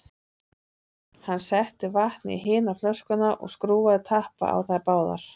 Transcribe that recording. Hann setti vatn í hina flöskuna og skrúfaði tappa á þær báðar.